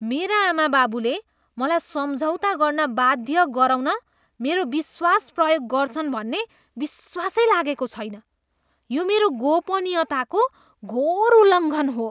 मेरा आमाबाबुले मलाई सम्झौता गर्न बाध्य गराउन मेरो विश्वास प्रयोग गर्छन् भन्ने विश्वासै लागेको छैन। यो मेरो गोपनीयताको घोर उल्लङ्घन हो।